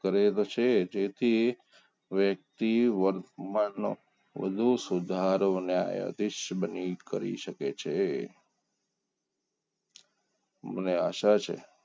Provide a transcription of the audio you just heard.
કરે તો છે જ એથી વ્યક્તિ વર્તમાનનો વધુ સુધારો અને ન્યાયાધીશ બની કરી શકે છે મને આશા છે